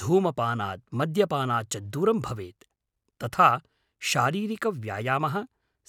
धूमपानात् मद्यपानात् च दूरं भवेत्, तथा शारीरिकव्यायामः,